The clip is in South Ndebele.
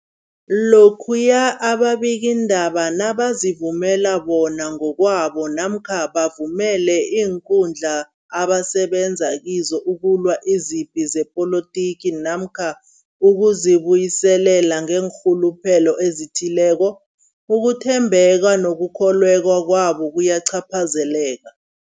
Lokhuya ababikiindaba nabazivumela bona ngokwabo namkha bavumele iinkundla abasebenza kizo ukulwa izipi zepolitiki namkha ukuzi buyiselela ngeenrhuluphelo ezithileko, ukuthembeka nokukholweka kwabo kuyacaphazeleka.